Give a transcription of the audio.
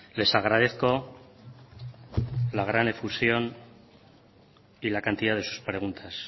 les agradezco la gran efusión y la cantidad de sus preguntas